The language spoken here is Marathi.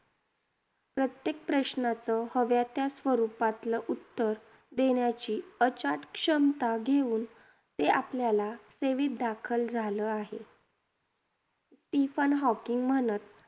प्रत्येक प्रश्नाचं हव्या त्या स्वरूपातलं उत्तर देण्याची अचाट क्षमता घेऊन ते आपल्याला सेवीत दाखल झालं आहे. स्टीफन हॉकिंग म्हणत